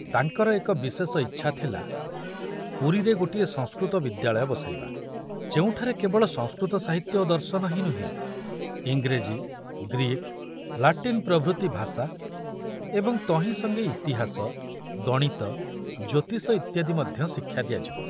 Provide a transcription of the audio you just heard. ତାଙ୍କର ଏକ ବିଶେଷ ଇଚ୍ଛା ଥିଲା ପୁରୀରେ ଗୋଟିଏ ସଂସ୍କୃତ ବିଦ୍ୟାଳୟ ବସାଇବା, ଯେଉଁଠାରେ କେବଳ ସଂସ୍କୃତ ସାହିତ୍ୟ ଓ ଦର୍ଶନ ହିଁ ନୁହେଁ, ଇଂରେଜୀ, ଗ୍ରୀକ, ଲାଟିନ ପ୍ରଭୃତି ଭାଷା ଏବଂ ତହିଁ ସଙ୍ଗେ ଇତିହାସ, ଗଣିତ, ଜ୍ୟୋତିଷ ଇତ୍ୟାଦି ମଧ୍ୟ ଶିକ୍ଷା ଦିଆଯିବ।